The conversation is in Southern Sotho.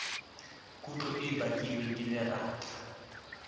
kutlo e bakilweng ke lerata